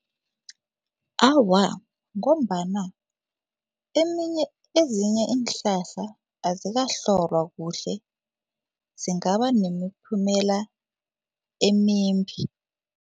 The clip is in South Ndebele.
Awa, ngombana eminye ezinye iinhlahla azikahlolwa kuhle, zingaba nemiphumela emimbi.